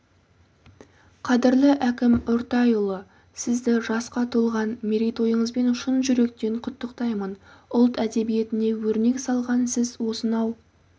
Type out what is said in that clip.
қадірлі әкім үртайұлы сізді жасқа толған мерейтойыңызбен шын жүректен құттықтаймын ұлт әдебиетіне өрнек салған сіз осынау